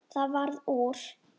Það varð úr.